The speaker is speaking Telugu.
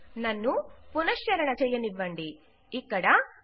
నన్ను పునఃశ్చరణ చెయ్యనివ్వండితిరిగి గుర్తుచేసుకుందాం